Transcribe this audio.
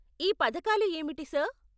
ఈ పథకాలు ఏమిటి, సార్?